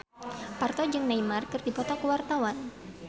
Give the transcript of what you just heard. Parto jeung Neymar keur dipoto ku wartawan